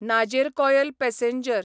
Nagercoil passenger